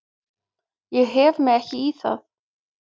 Ég hef mig ekki í það.